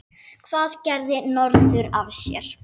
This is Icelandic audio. Hvað gerði norður af sér?